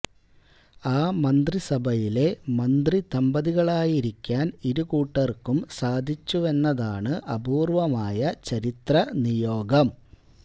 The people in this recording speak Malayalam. ആ മന്ത്രിസഭയിലെ മന്ത്രിദമ്പതികളായിരിക്കാന് ഇരു കൂട്ടര്ക്കും സാധിച്ചുവെന്നതാണ് അപൂര്വ്വമായ ചരിത്ര നിയോഗം